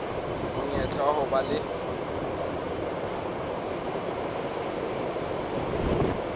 monyetla wa ho ba le